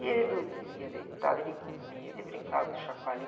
E ele dormia deitado, ele comia, ele brincava com o chacoalhinho.